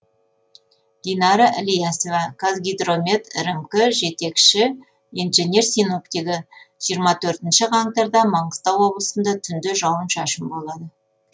динара ілиясова қазгидромет рмк жетекші инженер синоптигі жиырма төртінші қаңтарда маңғыстау облысында түнде жауын шашын болады